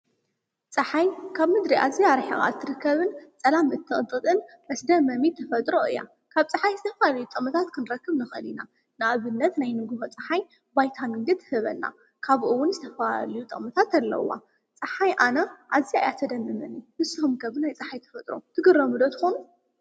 ፀሓይ ካብ ምድሪ ኣዝያ ርሒቃ እትርከብን ፀላም እትቅንጥጥን መስደመሚ ተፈጥሮ እያ። ካብ ፀሓይ ዝተፈላለዩ ጥቕምታት ክንረክብ ንኽእል ኢና። ንኣብነት ናይ ንጉሆ ፀሓይ ቫይታሚን ዲ ትህበና ከምኡ እዉን ዝተፈላለዩ ጥቕምታት ኣለዉዋ ጸሓይ ኣነ ኣዝያ እያ ተደምመኒ ንስኩም ከ ብናይ ፀሓይ ተፈጥሮ ትግረሙ ዶ ትኾኑ ?